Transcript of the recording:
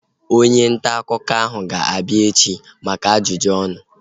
Onye ntaakụkọ ahu ga-abịa ebea echi maka ajụjụ ọnụ